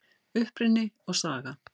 Uppruni og saga